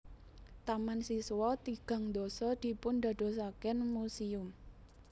Taman siswa tigang dasa dipundadosaken muséum